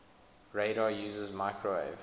radar uses microwave